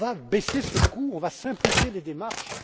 euros. On va baisser ce coût et simplifier les démarches.